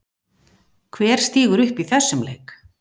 Hver stígur upp í þessum leik?